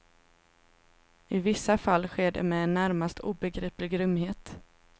I vissa fall sker det med en närmast obegriplig grymhet.